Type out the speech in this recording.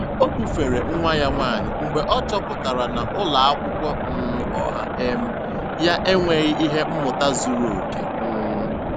Ọ bufere nwa ya nwanyị mgbe ọ chọpụtara na ụlọ akwụkwọ um ọha um ya enweghị ihe mmụta zuru oke. um